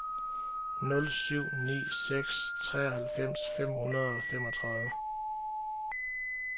nul syv ni seks treoghalvfems fem hundrede og femogtredive